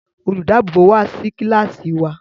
Olùdáàbòò wa sí Kílàsì wa